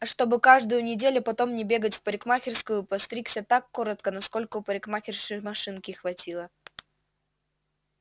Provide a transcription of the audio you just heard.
а чтобы каждую неделю потом не бегать в парикмахерскую постригся так коротко насколько у парикмахерши машинки хватило